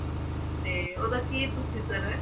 ਤੇ ਓਹ ਦਾ ਕਿ procedure ਹੈ